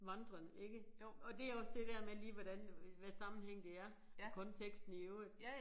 Vandrende ikke og det jo også det der med lige hvordan hvad sammenhæng det er konteksten i øvrigt